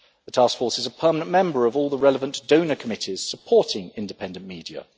The Task Force is a permanent member of all the relevant donor committees supporting independent media.